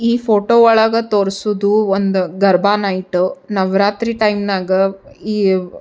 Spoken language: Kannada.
ಈ ಫೋಟೊ ಒಳಗ ತೋರ್ಸೋದ್ ಒಂದ್ ಗರ್ಭ ನೈಟ್ ನವರಾತ್ರಿ ಟೈಂನಾಗ ಈ--